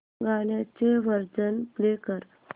गाण्याचे version play कर